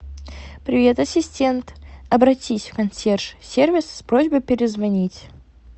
привет ассистент обратись в консьерж сервис с просьбой перезвонить